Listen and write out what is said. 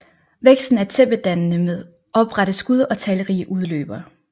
Væksten er tæppedannende med oprette skud og talrige udløbere